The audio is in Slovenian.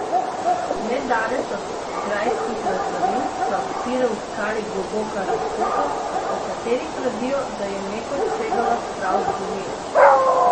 Nedaleč od grajskih razvalin se odpira v skali globoka razpoka, o kateri pravijo, da je nekoč segala prav do Doline.